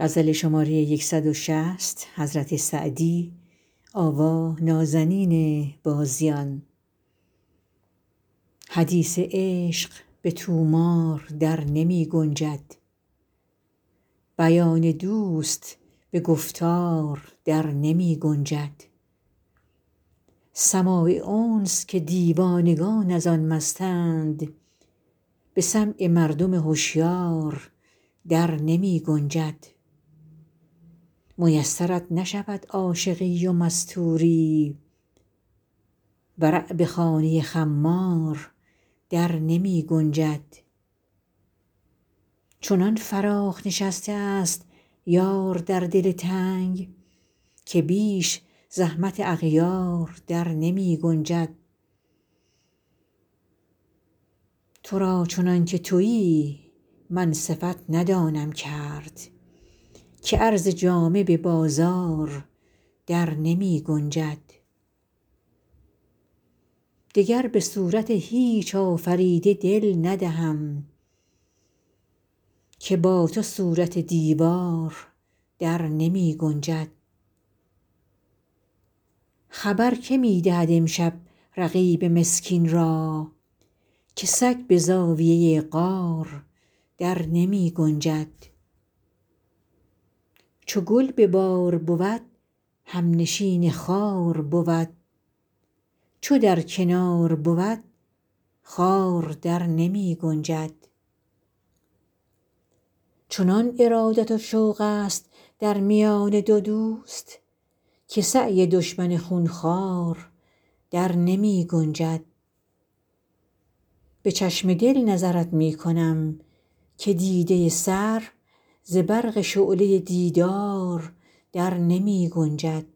حدیث عشق به طومار در نمی گنجد بیان دوست به گفتار در نمی گنجد سماع انس که دیوانگان از آن مستند به سمع مردم هشیار در نمی گنجد میسرت نشود عاشقی و مستوری ورع به خانه خمار در نمی گنجد چنان فراخ نشسته ست یار در دل تنگ که بیش زحمت اغیار در نمی گنجد تو را چنان که تویی من صفت ندانم کرد که عرض جامه به بازار در نمی گنجد دگر به صورت هیچ آفریده دل ندهم که با تو صورت دیوار در نمی گنجد خبر که می دهد امشب رقیب مسکین را که سگ به زاویه غار در نمی گنجد چو گل به بار بود همنشین خار بود چو در کنار بود خار در نمی گنجد چنان ارادت و شوق ست در میان دو دوست که سعی دشمن خون خوار در نمی گنجد به چشم دل نظرت می کنم که دیده سر ز برق شعله دیدار در نمی گنجد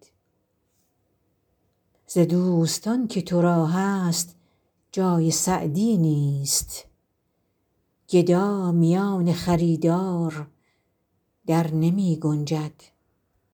ز دوستان که تو را هست جای سعدی نیست گدا میان خریدار در نمی گنجد